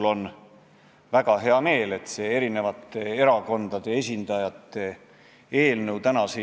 Ma saan aru, et enne valimisi käib kuskil põllu peal võitlus: siit sa püüad ühe asjaga võita venelaste hääli, sealt saad hästi parempoolsete eestlaste hääli.